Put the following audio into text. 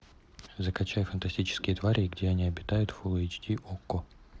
закачай фантастические твари и где они обитают фулл эйч ди окко